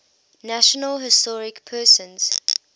national historic persons